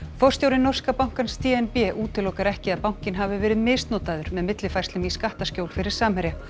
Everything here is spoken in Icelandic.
forstjóri norska bankans d n b útilokar ekki að bankinn hafi verið misnotaður með millifærslum í skattaskjól fyrir Samherja